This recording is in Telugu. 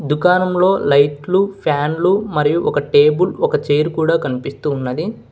దుకారంలో లైట్లు ఫ్యాన్లు మరియు ఒక టేబుల్ ఒక చైరు కూడా కనిపిస్తూ ఉన్నది.